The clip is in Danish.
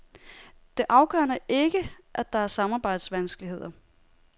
Det afgørende er ikke, at der er samarbejdsvanskeligheder.